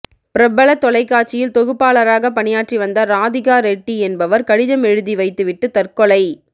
பிரபல தொலைக்காட்சியில் தொகுப்பாளராக பணியாற்றி வந்த ராதிகா ரெட்டி என்பவர் கடிதம் எழுதி வைத்து விட்டு தற்கொலை